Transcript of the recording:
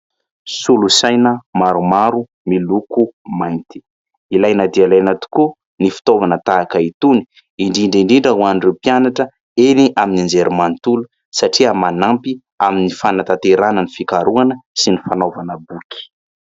Solosaina maromaro miloko mainty. Ilaina dia ilaina tokoa ny fitaovana tahaka itony indrindra indrindra ho an'ireo mpianatra eny amin'ny anjery manontolo satria manampy amin'ny fanantanterahana ny fikarohana sy ny fanaovana boky.